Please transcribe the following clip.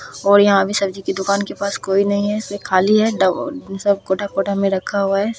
और यहाँ पे सब्जी की दुकान के पास कोई नहीं है इसलिए खाली है ड सब कोठा कोठा में रखा हुआ है।